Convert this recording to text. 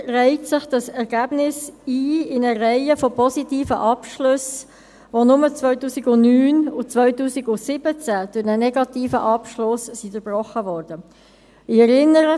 Damit reiht sich das Ergebnis in eine Reihe von positiven Abschlüssen ein, die nur in den Jahren 2009 und 2017 durch einen negativen Abschluss durchbrochen worden waren.